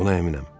Buna əminəm.